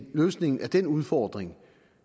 løsningen på den udfordring